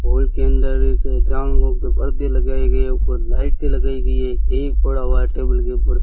Hall के अंदर एक पर्दे लगाए गए है ऊपर लाइटें लगाए गई है एक एग पड़ा हुआ है टेबल के ऊपर।